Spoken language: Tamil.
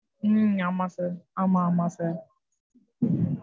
உம் ஆமா sir ஆமா, ஆமா sir.